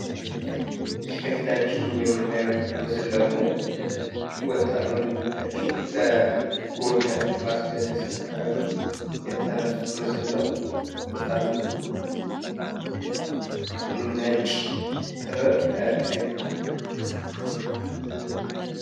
ይህ ከፊታችን የምናየው ምስል ደግሞ ወጣት ወንድሞቻችን በጎንደር ፋሲለደስ አካባቢ የተነሱት ምስል ነው። ወጣቶቹ ነጭ ጥበብ ከቀይ።